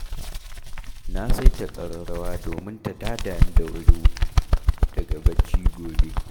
Na saita ƙararrawa domin ta tada ni da wuri daga bacci gobe